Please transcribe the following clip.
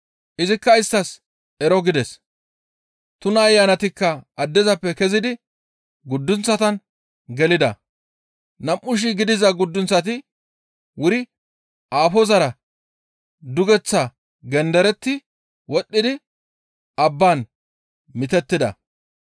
Izikka isttas, «Ero» gides. Tuna ayanatikka addezappe kezidi guddunththatan gelida. Nam7u shii gidiza guddunththati wuri aafozara duguththaa genderetti wodhdhidi abban mitettida.